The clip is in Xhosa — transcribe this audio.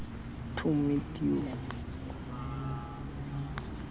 to meet you